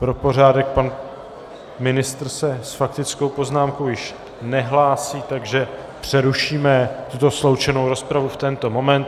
Pro pořádek, pan ministr se s faktickou poznámkou již nehlásí, takže přerušíme tuto sloučenou rozpravu v tento moment.